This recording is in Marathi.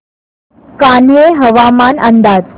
कान्हे हवामान अंदाज